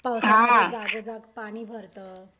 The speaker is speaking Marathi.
पावसात तर जागोजाग पाणी भरतं.